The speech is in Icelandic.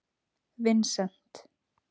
Vincent